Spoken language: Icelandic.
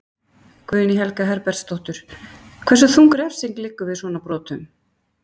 Guðný Helga Herbertsdóttir: Hversu þung refsing liggur við svona brotum?